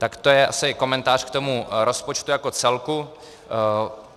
Tak to je asi komentář k tomu rozpočtu jako celku.